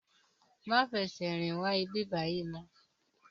Má fè sè rin wá ibibàyi mò